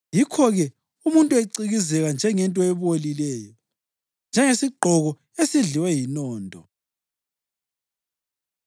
Yikho-ke umuntu ecikizeka njengento ebolileyo, njengesigqoko esidliwe yinondo.”